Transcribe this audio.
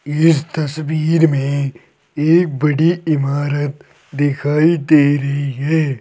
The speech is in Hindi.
इस तस्वीर में एक बड़ी इमारत दिखाई दे रही है।